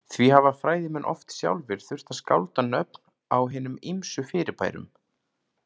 Því hafa fræðimenn oft sjálfir þurft að skálda nöfn á hinum ýmsu fyrirbærum.